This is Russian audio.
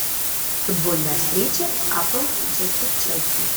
футбольная встреча апл манчестер челси